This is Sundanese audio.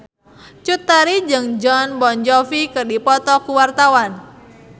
Cut Tari jeung Jon Bon Jovi keur dipoto ku wartawan